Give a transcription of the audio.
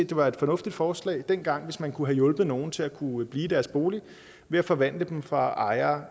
det var et fornuftigt forslag dengang hvis man kunne have hjulpet nogle til at kunne blive i deres bolig ved at forvandle dem fra ejere